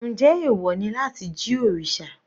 Njẹ́ ẹ̀wọ̀ ni láti jí òrìṣà?